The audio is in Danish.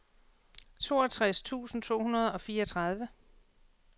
toogtres tusind to hundrede og fireogtredive